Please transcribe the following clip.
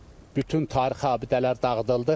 Bütün tarixi abidələr dağıdıldı.